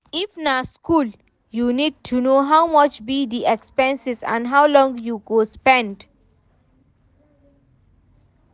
If na school, you need to know how much be di expenses and how long you go spend